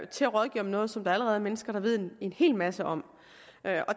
til at rådgive om noget som der allerede er mennesker der ved en hel masse om